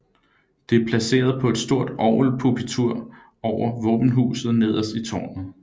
Det er placeret på et stort orgelpulpitur over våbenhuset nederst i tårnet